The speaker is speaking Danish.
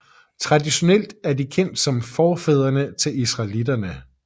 Traditionelt er de kendt som forfædrene til israelitterne